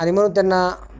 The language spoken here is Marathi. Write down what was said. आणि मग त्यांना